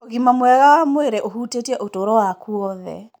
Ũgima mwega wa mwĩrĩ ũhutĩtie ũtũũro waku wothe.